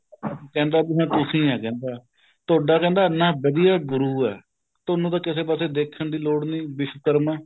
ਕਹਿੰਦਾ ਵੀ ਮੈਂ ਤੁਸੀਂ ਹੈ ਕਹਿੰਦਾ ਤੁਹਾਡਾ ਕਹਿੰਦਾ ਏਨਾ ਵਧੀਆ ਗੁਰੂ ਹੈ ਤੁਹਨੂੰ ਤਾਂ ਕਿਸੇ ਪਾਸੇ ਦੇਖਣ ਦੀ ਲੋੜ ਨਹੀਂ ਵਿਸ਼ਕਰਮਾ